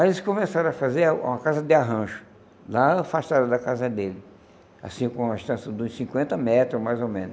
Aí eles começaram a fazer uma casa de arranjo, lá afastada da casa dele, assim, com uma distância de uns cinquenta metros, mais ou menos.